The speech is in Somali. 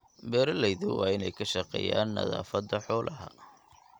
Beeralayda waa in ay ka shaqeeyaan nadaafadda xoolaha.